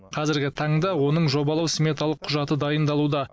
қазіргі таңда оның жобалау сметалық құжаты дайындалуда